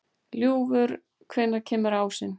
Ljúfur, hvenær kemur ásinn?